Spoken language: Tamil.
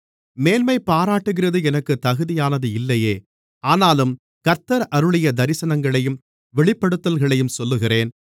மேன்மைபாராட்டுகிறது எனக்குத் தகுதியானது இல்லையே ஆனாலும் கர்த்தர் அருளிய தரிசனங்களையும் வெளிப்படுத்தல்களையும் சொல்லுகிறேன்